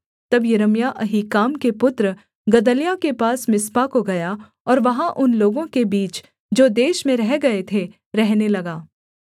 तब यिर्मयाह अहीकाम के पुत्र गदल्याह के पास मिस्पा को गया और वहाँ उन लोगों के बीच जो देश में रह गए थे रहने लगा